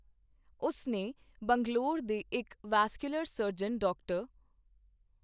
ਉਸ ਨੇ ਬੰਗਲੌਰ ਦੇ ਇੱਕ ਵੈਸਕੁਲਰ ਸਰਜਨ, ਡਾ.